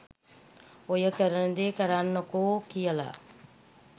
ඔයා කරන දේ කරන්නකෝ කියලා